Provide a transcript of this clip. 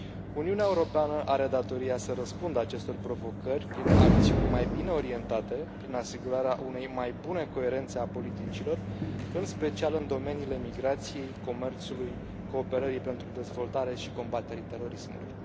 Uniunea Europeană are datoria să răspundă acestor provocări prin acțiuni mai bine orientate, prin asigurarea unei mai bune coerențe a politicilor, în special în domeniile migrației, comerțului, cooperării pentru dezvoltare și combaterii terorismului.